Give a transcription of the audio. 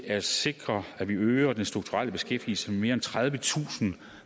at sikre at vi øger den strukturelle beskæftigelse med mere end tredivetusind